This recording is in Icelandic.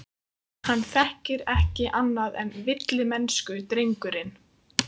Hann þekkir ekki annað en villimennsku, drengurinn.